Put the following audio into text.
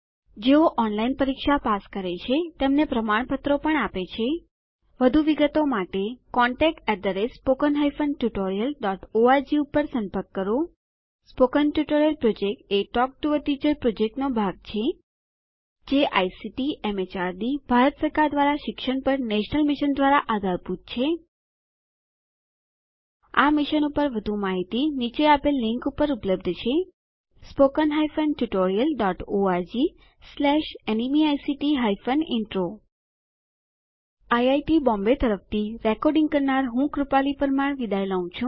જેઓ ઓનલાઇન પરીક્ષા પાસ કરે છે તેમને પ્રમાણપત્રો આપે છે વધુ વિગતો માટે અમને contactspoken tutorialorg ઉપર સંપર્ક કરો સ્પોકન ટ્યુટોરીયલ પ્રોજેક્ટ એ ટોક ટુ અ ટીચર પ્રોજેક્ટનો ભાગ છે જે આઇસીટીએમએચઆરડીભારત સરકાર દ્વારા શિક્ષણ પર નેશનલ મિશન દ્વારા આધારભૂત છે આ મિશન પર વધુ માહિતી નીચે આપેલ લીંક પર ઉપલબ્ધ છે spoken hyphen tutorial dot O R G slash NMEICT hyphen intro IIT Bombay તરફથી આ ટ્યુટોરીયલ ભાષાંતર કરનાર હું જ્યોતી સોલંકી વિદાય લઉં છું